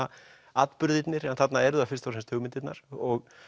atburðirnir en þarna eru það fyrst og fremst hugmyndirnar og